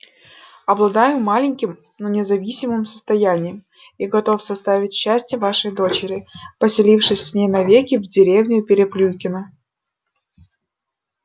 обладаю маленьким но независимым состоянием и готов составить счастье вашей дочери поселившись с ней навеки в деревню переплюйкино